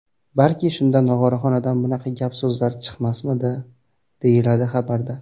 Balki shunda Nog‘oraxonadan bunaqa gap-so‘zlar chiqmasmidi”, deyiladi xabarda.